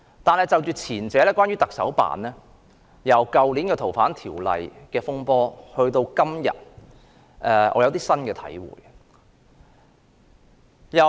但是，關於前者，即行政長官辦公室，由去年《逃犯條例》的風波到今天，我有新的體會。